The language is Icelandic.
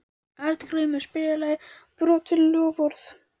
Arngrímur, spilaðu lagið „Brotin loforð“.